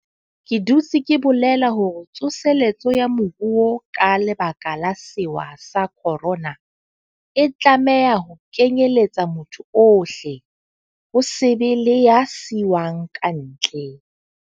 Ke dutse ke bolela hore tso seletso ya moruo ka lebaka la sewa sa khorona, e tlameha ho kenyeletsa motho ohle, ho se be le ya siuwang kantle.